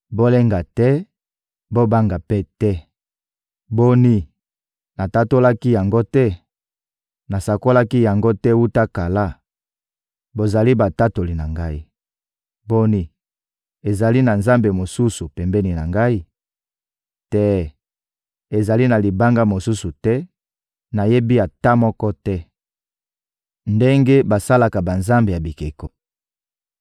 Bolenga te, bobanga mpe te. Boni, natatolaki yango te? Nasakolaki yango te wuta kala? Bozali batatoli na Ngai. Boni, ezali na nzambe mosusu pembeni na Ngai? Te, ezali na Libanga mosusu te, nayebi ata moko te.» Ndenge basalaka banzambe ya bikeko